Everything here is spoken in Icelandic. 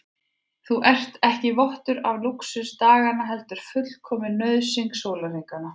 Þú ert ekki vottur af lúxus daganna heldur fullkomin nauðsyn sólarhringanna.